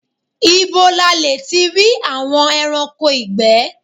Ìbo la le tí rí àwọn ẹranko ìgbé?